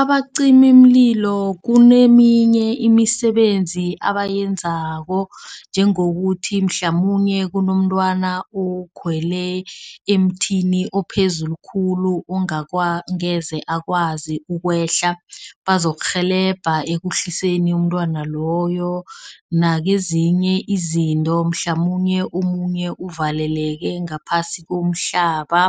Abacimimlilo kuneminye imisebenzi abayenzako njengokuthi mhlamunye kunomntwana okhwele emthini ophezulu khulu. Ongakwa angeze akwazi ukwehla bazokurhelebha ekuhliseni umntwana loyo. Nakezinye izinto mhlamunye omunye uvaleleke ngaphasi komhlaba,